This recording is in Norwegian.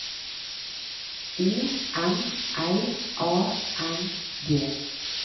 O M L A N D